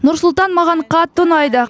нұр сұлтан маған қатты ұнайды